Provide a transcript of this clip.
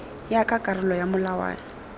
ya ka karolo ya molawana